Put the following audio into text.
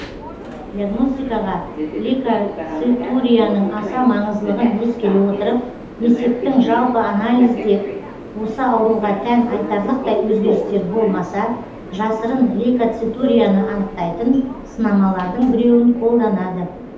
диагностикаға лейкоцитурияның аса маңыздылығын ескере отырып несептің жалпы анализінде осы ауруға тән айтарлықтай өзгерістер болмаса жасырын лейкоцитурияны анықтайтын сынамалардың біреуін қолданады